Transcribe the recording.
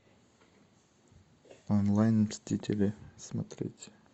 онлайн мстители смотреть